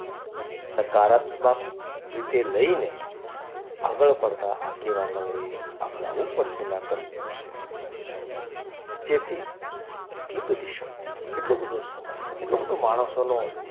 સકારાત્મક રીતે લઈને આગળ પડતા આગેવાનોએ આગળ આવું પડશે ને આ કરવું પડશે જેથી કેટલો બધી શક્તિ કેટલો બધો સમય કેટલો બધો માણસોનો,